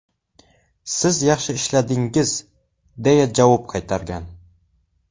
Siz yaxshi ishladingiz”, deya javob qaytargan.